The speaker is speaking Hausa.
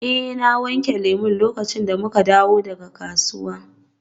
Eh na wanke lemu lokacin da muka dawo daga kasuwa.